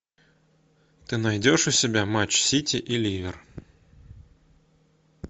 ты найдешь у себя матч сити и ливер